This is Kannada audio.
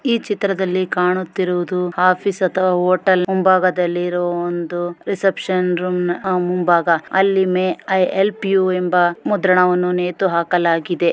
ಈ ಚಿತ್ರದಲ್ಲಿ ಕಾಣುತ್ತಿರುವುದು ಆಫೀಸ್ ಅಥವಾ ಹೋಟೆಲ್ ಮುಂಭಾಗದಲ್ಲಿ ಇರುವ ಒಂದು ರಿಸೆಪ್ಷನ್ ರೂಮ್ ನ ಮುಂಭಾಗ ಅಲ್ಲಿ ಮೇ ಐ ಹೆಲ್ಪ್ ಯು ಎಂಬ ಮುದ್ರಣವನ್ನು ನೇತು ಹಾಕಲಾಗಿದೆ.